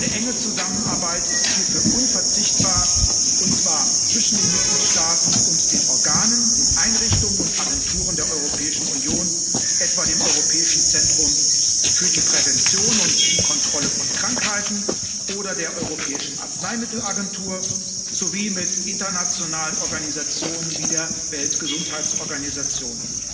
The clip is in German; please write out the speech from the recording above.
Eine enge Zusammenarbeit ist hierfür unverzichtbar, und zwar zwischen den Mitgliedstaaten und den Organen, den Einrichtungen und Agenturen der Europäischen Union, etwa dem Europäischen Zentrum für die Prävention und die Kontrolle von Krankheiten oder der Europäischen Arzneimittel Agentur sowie mit internationalen Organisationen wie der Weltgesundheitsorganisation.